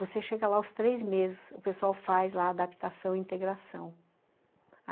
Você chega lá aos três meses, o pessoal faz lá adaptação e integração.